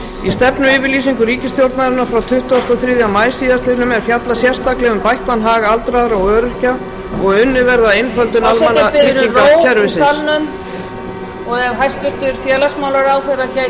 stefnuyfirlýsingu ríkisstjórnarinnar frá tuttugasta og þriðja maí síðastliðnum er fjallað sérstaklega um bættan hag aldraðra og öryrkja og að unnið verði að einföldun almannatryggingakerfisins forseti biður um ró í salnum og ef hæstvirtur félagsmálaráðherra gæti ívið hækkað rödd